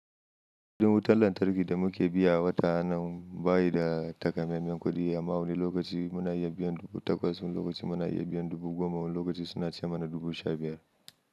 Kudin wutar lantarki da muke biya a wata anan bayi da takamaiman kuɗi. Amma wani lokaci muna iya biyan dubu takwas, wani lokaci muna iya biyan dubu goma, wani lokaci suna ce mana dubu sha biyar.